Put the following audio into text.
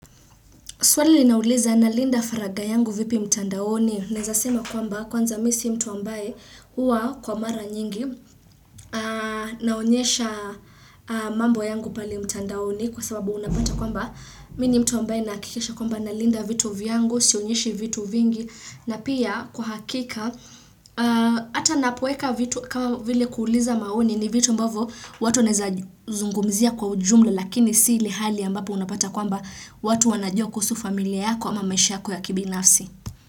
Swali linauliza na linda faraga yangu vipi mtandaoni. Nawezasema kwamba kwanza mimisi mtu ambaye huwa kwa mara nyingi naonyesha mambo yangu pale mtandaoni kwa sababu unapata kwamba. Mimini mtu ambaye nahakikisha kwamba na linda vitu vyangu, sionyeshi vitu vingi na pia kwa hakika. Ata napoweka vitu kama vile kuuliza maoni ni vitu ambavyo watu wanaweza zungumzia kwa ujumla lakini si ilehali ambapo unapata kwamba watu wanajua kuhusu familia yako ama maisha yako ya kibi nafsi.